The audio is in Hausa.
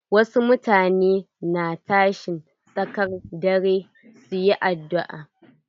Wasu mutane na tashin tsakar dare su yi addu'a.